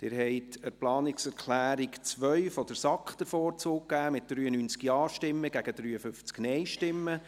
Sie haben der Planungserklärung 2 der SAK den Vorzug gegeben, mit 93 Ja- gegen 53 Nein-Stimmen.